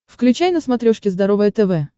включай на смотрешке здоровое тв